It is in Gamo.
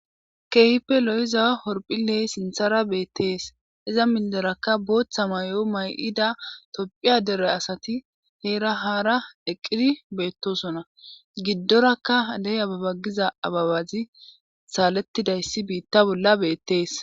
keehipe lo7iza horphile sinthara beettees iza milderakka booththa may77o may7ida topphiya dere asati heera haara eqqidi beettosona giddorakka deh ababa giza ababazi saalettidayssi biitta bolla beettees